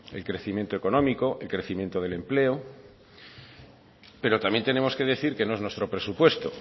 el crecimiento económico el crecimiento del empleo pero también tenemos que decir que no es nuestro presupuesto